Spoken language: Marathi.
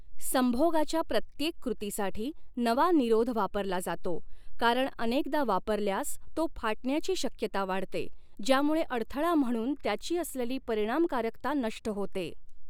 संभोगाच्या प्रत्येक कृतीसाठी नवा निरोध वापरला जातो, कारण अनेकदा वापरल्यास तो फाटण्याची शक्यता वाढते, ज्यामुळे अडथळा म्हणून त्याची असलेली परिणामकारकता नष्ट होते.